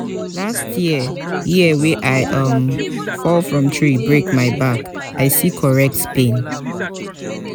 last year year wey i um fall from tree break my back i see correct pain.